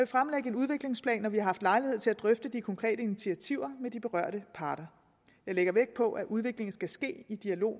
fremlægge en udviklingsplan når vi har haft lejlighed til at drøfte de konkrete initiativer med de berørte parter jeg lægger vægt på at udviklingen skal ske i dialog